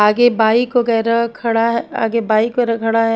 आगे बाइक वगैर खड़ा है आगे बाइक वाला खड़ा है।